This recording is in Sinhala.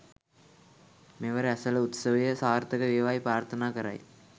මෙවර ඇසළ උත්සවය සාර්ථක වේවායි ප්‍රාර්ථනා කරයි